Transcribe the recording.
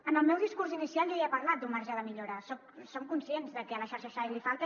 en el meu discurs inicial jo ja he parlat d’un marge de millora som conscients de que a la xarxa sai li falta